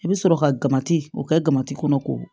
I bɛ sɔrɔ ka gabati o kɛmati kɔnɔ k'o